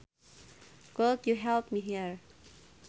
Could you help me here